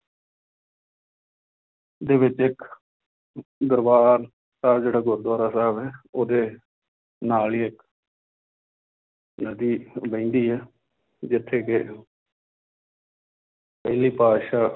ਦੇ ਵਿੱਚ ਇੱਕ ਦਰਬਾਰ ਸਾਹਿਬ ਜਿਹੜਾ ਗੁਰੂਦੁਆਰਾ ਸਾਹਿਬ ਹੈ ਉਹਦੇ ਨਾਲ ਹੀ ਇੱਕ ਨਦੀ ਵਹਿੰਦੀ ਹੈ ਜਿੱਥੇ ਕਿ ਪਹਿਲੀ ਪਾਤਿਸ਼ਾਹ